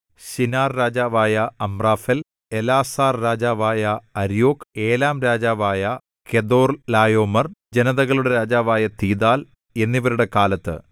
ശിനാർരാജാവായ Amraphel എലാസാർരാജാവായ Arioch ഏലാംരാജാവായ Chedorlaomer ജനതകളുടെ രാജാവായ തീദാൽ എന്നിവരുടെ കാലത്ത്